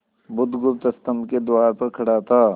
बुधगुप्त स्तंभ के द्वार पर खड़ा था